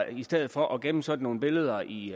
i stedet for at gemme sådan nogle billeder i